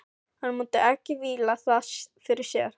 Hann mundi ekki víla það fyrir sér.